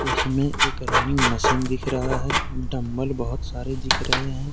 इसमें एक running machine दिख रहा है डंबल बहुत सारे दिख रहे हैं।